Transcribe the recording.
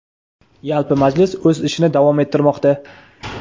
Yalpi majlis o‘z ishini davom ettirmoqda).